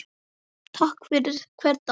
Þakklát fyrir hvern dag.